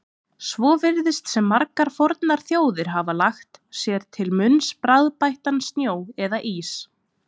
Svo virðist sem margar fornar þjóðir hafi lagt sér til munns bragðbættan snjó eða ís.